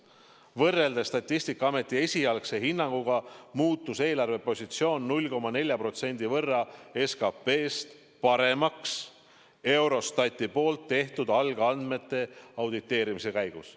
Võrreldes Statistikaameti esialgse hinnanguga muutus eelarvepositsioon Eurostati tehtud algandmete auditeerimise käigus paremaks 0,4% võrra SKP-st.